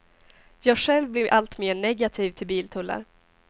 Jag själv blir alltmer negativ till biltullar.